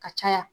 Ka caya